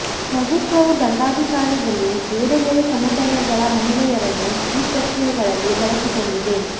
ಪ್ರಭುತ್ವವು ದಂಡಾಧಿಕಾರದಲ್ಲಿ ಬೇರೆ ಬೇರೆ ಸಮುದಾಯಗಳ ಮಹಿಳೆಯರನ್ನು ಈ ಪ್ರಕ್ರಿಯೆಗಳಲ್ಲಿ ಬಳಸಿಕೊಂಡಿದೆ